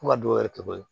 Fo ka dɔw yɛrɛ kɛ koyi